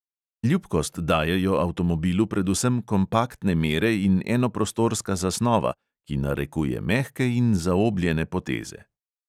Ljubkost dajejo avtomobilu predvsem kompaktne mere in enoprostorska zasnova, ki narekuje mehke in zaobljene poteze.